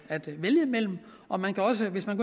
at vælge imellem og man kan også hvis man